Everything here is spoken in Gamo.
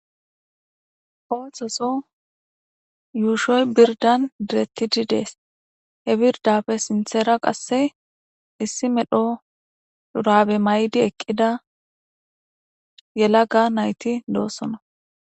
Oohtoso yuushoy birdan direttidi dees he birdapfe sinthera qasse issi medho durabe maydi eqqida yela ga nayti doossona